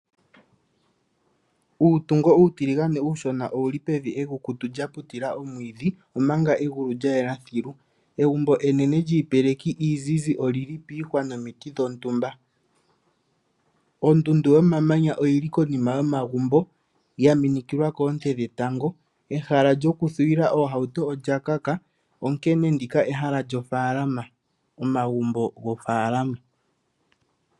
Uutungo uutiligane uushona owu li pevi ekukutu lya putila omwiidhi, omanga egulu lya yela sheke. Egumbo enene lyiipeleki iizizi oli li piihwa nomiti dhontumba. Ondundu yomamanya oyi li konima yomagumbo ya minikilwa koonte dhetango. Ehala lyokukakamekwa oohauto olya kaka, onkene ndika ehala lyomagumbo gomoofaalama.